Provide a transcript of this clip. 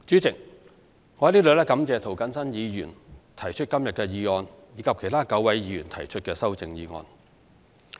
主席，我在此感謝涂謹申議員提出今天的議案，以及其他9位議員提出修正案。